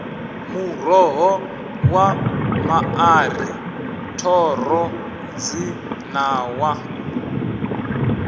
muroho wa maṱari thoro dzinawa